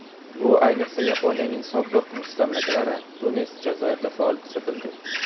Bu, ayniqsa, Yevropaning sobiq mustamlakalari, Tunis, Jazoirda faol kuzatildi.